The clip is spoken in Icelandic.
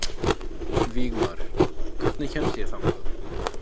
Vígmar, hvernig kemst ég þangað?